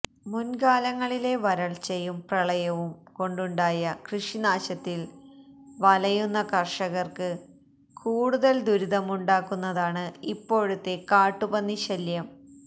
മുൻകാലങ്ങളിലെ വരൾച്ചയും പ്രളയവും കൊണ്ടുണ്ടായ കൃഷിനാശത്തിൽ വലയുന്ന കർഷകർക്ക് കൂടുതൽ ദുരിതമുണ്ടാക്കുന്നതാണ് ഇപ്പോഴത്തെ കാട്ടുപന്നിശല്യം